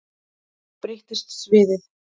Þá breytist sviðið.